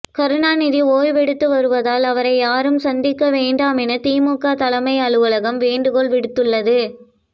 கருணாநிதி ஓய்வெடுத்து வருவதால் அவரை யாரும் சந்திக்க வேண்டாம் என திமுக தலைமை அலுவலகம் வேண்டுகோள் விடுத்துள்ளது